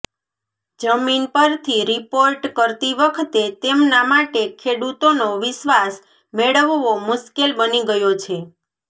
જમીન પરથી રિપોર્ટ કરતી વખતે તેમના માટે ખેડૂતોનો વિશ્વાસ મેળવવો મુશ્કેલ બની ગયો છે